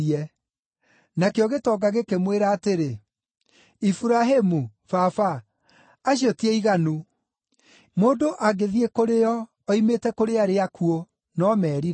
“Nakĩo gĩtonga gĩkĩmwĩra atĩrĩ, ‘Iburahĩmu, baba, acio ti aiganu; mũndũ angĩthiĩ kũrĩ o oimĩte kũrĩ arĩa akuũ, no merire.’